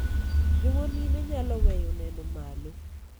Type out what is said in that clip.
joma mine nyalo weyo neno malo